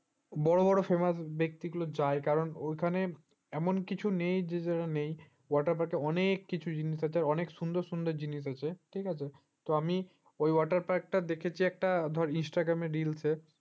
বড় বড় famous ব্যক্তি গুলো যায় কারণ ওখানে এমন কিছু নেই water park অনেক কিছু জিনিস আছে অনেক সুন্দর সুন্দর জিনিস আছে ঠিক আছে তো আমি ও water park টা দেখেছি ধর একটা instagram reels এ